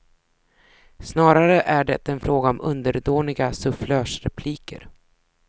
Snarare är det fråga om underdåniga sufflörsrepliker.